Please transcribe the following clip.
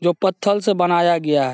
जो पथल से बनाया गया है ।